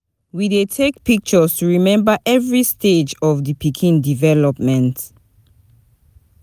We dey take pictures to remember every stage of di pikin development.